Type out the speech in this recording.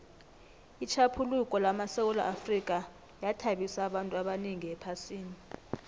itjhaphuluko lamasewula afrika yathabisa abantu abanengi ephasini